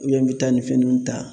n bɛ taa nin fɛn ninnu ta